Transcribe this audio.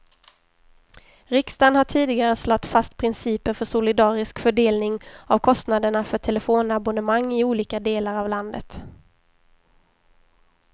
Riksdagen har tidigare slagit fast principer för solidarisk fördelning av kostnaderna för telefonabonnemang i olika delar av landet.